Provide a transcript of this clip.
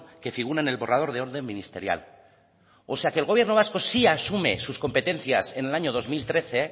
que figura en el borrador de orden ministerial o sea que el gobierno vasco sí asume sus competencias en el año dos mil trece